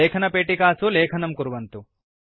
लेखनपेटिकासु लेखनं कुर्वन्तु